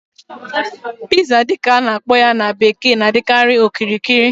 Pizza dị ka a na-akpọ ya na bekee na-adịkarị okirikiri